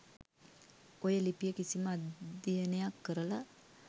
ඔය ලිපිය කිසිම අධ්‍යයනයක් කරල